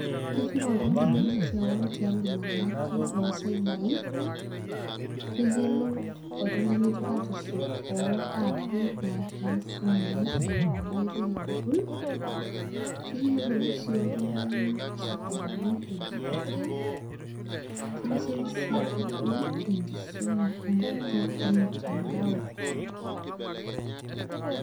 Kerrip oltung'ani keon tialo irmang'ati le cyber ii keyiolou oltung'ani tepatisho oo aapi naatii isimui eimu ena oitoi e google keyiolou sii oltung'ani isokonini le digital kitasheiki sii google enkisuma enkutuk ormutandao.